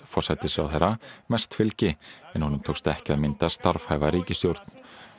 forsætisráðherra mest fylgi en honum tókst ekki að mynda starfhæfa ríkisstjórn